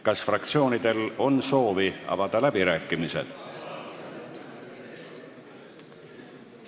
Kas fraktsioonidel on soovi avada läbirääkimised?